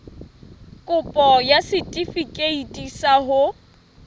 kopo ya setefikeiti sa ho